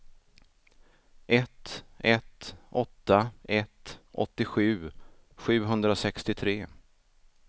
ett ett åtta ett åttiosju sjuhundrasextiotre